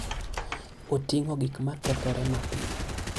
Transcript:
Oting'o gik ma kethore mapiyo.